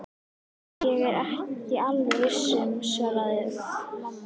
Ég er ekki alveg viss svaraði mamma.